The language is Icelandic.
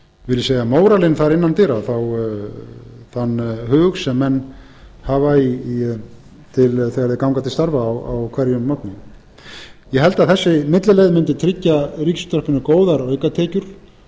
og á vil ég segja móralinn þar innan dyra þann hug sem menn hafa þegar þeir ganga til starfa á hverjum morgni ég held að þessi millileið mundi tryggja ríkisútvarpinu góðar aukatekjur